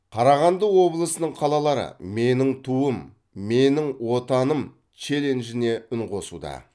қарағанды облысының қалалары менің туым менің отаным челленджіне үн қосуда